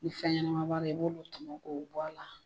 Ni fɛn ɲɛnama b'a la i b'olu tɔmɔ k'o bɔ a la.